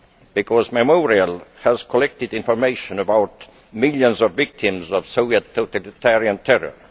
because Memorial has collected information about millions of victims of Soviet totalitarian terror.